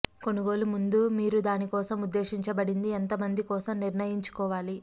కొనుగోలు ముందు మీరు దాని కోసం ఉద్దేశించబడింది ఎంత మంది కోసం నిర్ణయించుకోవాలి